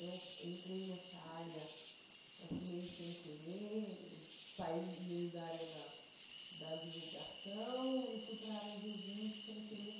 Eu entrei nessa área assim meio sem querer, saí meio da área da da divulgação e fui para a área de eventos sem querer.